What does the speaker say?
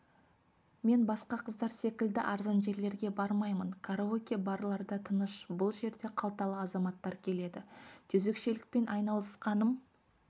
мен басқа қыздар секілді арзан жерлерге бармаймын караоке-барларда тыныш бұл жерге қалталы азаматтар келеді жезөкшелікпен айналысқаным